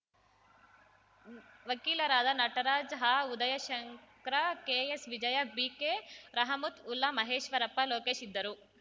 ವಕೀಲರಾದ ನಟರಾಜ್‌ ಆಉದಯಶಂಕ್ರ ಕೆಎಸ್‌ವಿಜಯ ಬಿಕೆರಹಮತ್‌ವುಲ್ಲಾ ಮಹೇಶ್ವರಪ್ಪ ಲೋಕೇಶ್‌ ಇದ್ದರು